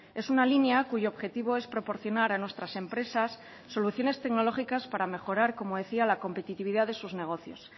es una línea cuyo objetivo es proporcionar a nuestras empresas soluciones tecnológicas para mejorar como decía la competitividad de sus negocios